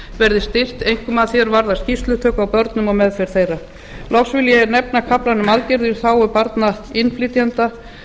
verði styrkt einkum að því er varðar skýrslutöku á börnum og meðferð þeirra loks vil ég nefna kaflann um aðgerðir í þágu barna innflytjenda